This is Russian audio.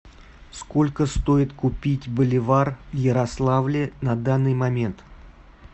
сколько стоит купить боливар в ярославле на данный момент